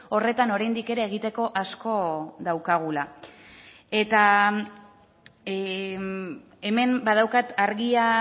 horretan oraindik ere egiteko asko daukagula eta hemen badaukat argia